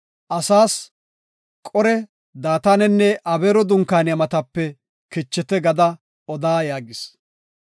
“Asaas ‘Qore, Daatanenne Abeero dunkaaniya matape kichite’ gada oda” yaagis.